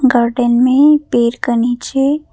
garden में पेड़ के नीचे--